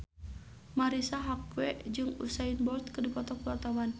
Marisa Haque jeung Usain Bolt keur dipoto ku wartawan